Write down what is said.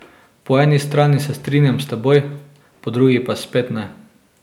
Po eni strani se strinjam s teboj, po drugi pa spet ne.